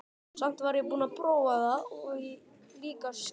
Samt var ég búin að prófa það og líka skilja.